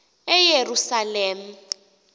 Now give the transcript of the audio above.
eyerusalem